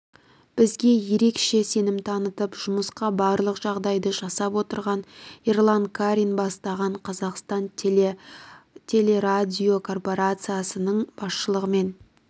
бізге ерекше сенім танытып жұмысқа барлық жағдайды жасап отырған ерлан карин бастаған қазақстан телерадиокорпарациясының басшылығымен